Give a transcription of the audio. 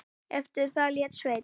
Eftir það lét Sveinn